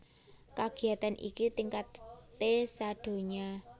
Kagiyatan iki tingkaté sadonya